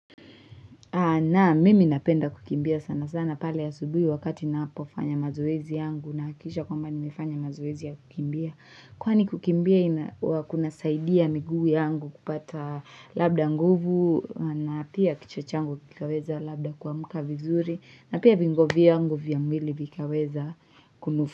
Naam, mimi napenda kukimbia sana sana pale asubuhi wakati ninapofanya mazoezi yangu nahahakisha kwamba nimefanya mazoezi ya kukimbia. Kwani kukimbia ina kunasaidia miguu yangu kupata labda nguvu na pia kichwa changu kikaweza labda kuamka vizuri na pia viungo vyangu vya mwili vikaweza kunufu.